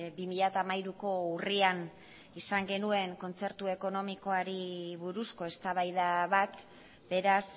bi mila hamairuko urrian izan genuen kontzertu ekonomikoari buruzko eztabaida bat beraz